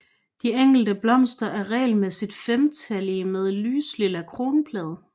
De enkelte blomster er regelmæssigt femtallige med lyslilla kronblade